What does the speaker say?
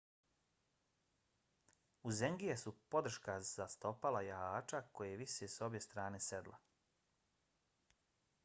uzengije su podrška za stopala jahača koje vise s obje strane sedla